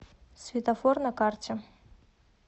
светофор на карте